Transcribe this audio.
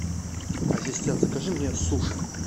ассистент закажи мне суши